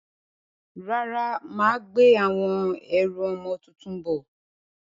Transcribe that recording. Rárá, mà á gbé àwọn ẹrù ọmọ tuntun bọ̀.